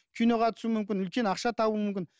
киноға түсуім мүмкін үлкен ақша табуым мүмкін